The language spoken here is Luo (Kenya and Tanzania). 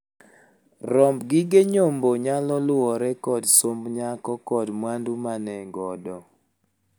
Romb gige nyombo nyalo luwore kod somb nyako kod mwandu ma ne godo.